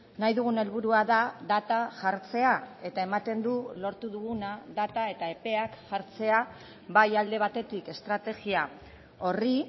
nahi dugun helburua da data jartzea eta ematen du lortu duguna data eta epeak jartzea bai alde batetik estrategia horri